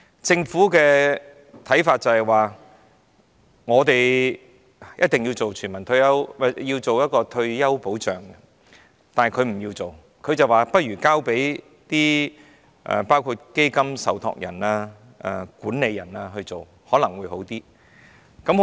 政府的看法是，必須推行退休保障，但他們不做，提議交由基金受託人和管理人等來做，可能會較好。